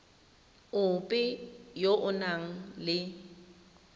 ope yo o nang le